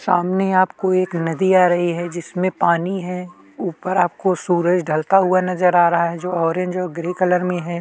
सामने आपको एक नदी आ रही है जिसमें पानी है ऊपर आपको सूरज ढलता हुआ नजर आ रहा है जो ऑरेंज और ग्रे कलर में हैं।